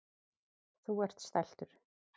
Þú ert stæltur.